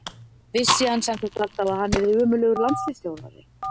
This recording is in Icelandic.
Vissi hann sem sagt alltaf að hann yrði ömurlegur landsliðsþjálfari?